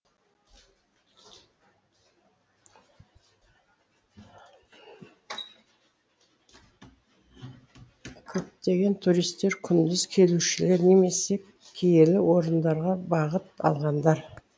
көптеген туристер күндіз келушілер немесе киелі орындарға бағыт алғандар